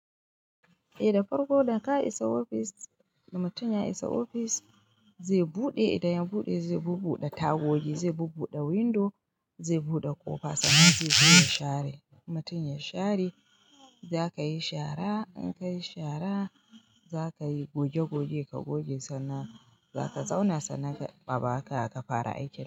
Da farko da ka isa ofis da mutum ya isa ofis zai bude idan ya bude zai bubbude tagogi sai bubbude window sai bude kofa sannan zai zo ya share in mutum ya share kayi shara in kayi shara za ka yi goge goge ka goge sannan zaka sannan a baka ka fara aikin.